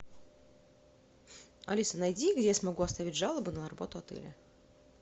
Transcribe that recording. алиса найди где я смогу оставить жалобу на работу отеля